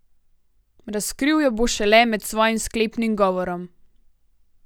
Razkril jo bo šele med svojim sklepnim govorom.